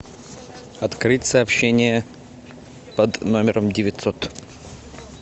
открыть сообщение под номером девятьсот